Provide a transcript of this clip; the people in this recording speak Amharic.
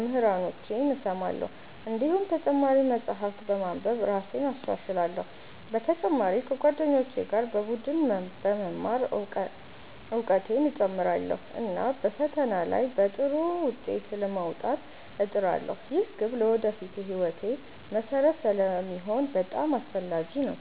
መምህራኖቼን እሰማለሁ። እንዲሁም ተጨማሪ መጻሕፍት በማንበብ እራሴን እሻሻላለሁ። በተጨማሪ ከጓደኞቼ ጋር በቡድን በመማር እውቀቴን እጨምራለሁ፣ እና በፈተና ላይ በጥሩ ውጤት ለመውጣት እጥራለሁ። ይህ ግብ ለወደፊት ሕይወቴ መሠረት ስለሚሆን በጣም አስፈላጊ ነው።